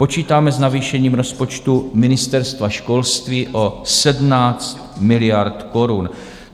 Počítáme s navýšením rozpočtu Ministerstva školství o 17 miliard korun.